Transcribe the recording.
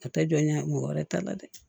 O tɛ jɔ ɲɛ mɔgɔ wɛrɛ ta la dɛ